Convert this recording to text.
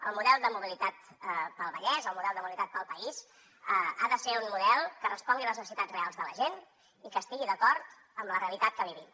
el model de mobilitat per al vallès el model de mobilitat per al país ha de ser un model que respongui a les necessitats reals de la gent i que estigui d’acord amb la realitat que vivim